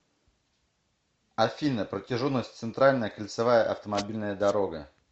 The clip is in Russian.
афина протяженность центральная кольцевая автомобильная дорога